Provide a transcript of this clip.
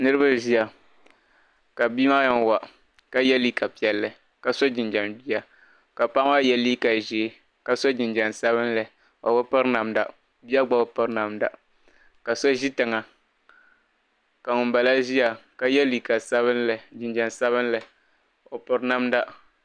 niriba n-ʒiya ka bia maa yɛn wa ka ye liiga piɛlli ka sɔ jinjam jia ka paɣa maa ye liiga ʒee ka sɔ jinjam sabinli o bi piri namda bia maa gba bi piri namda ka so ʒi tiŋa ka ŋun bala ʒiya ka ye liiga sabinli jinjam sabinli o piri namda.